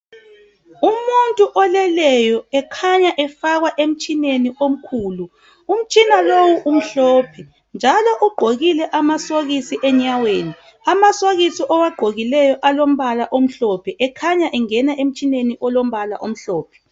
umuntu oleleyo ekhanya efakwa emtshineni omkhulu umtshina lo umhlophe njalo ugqokile amasokisi enyaweni amasokisi awagqokileyo alompala omhlophe ekhanya engena emtshineni olompala omhlophe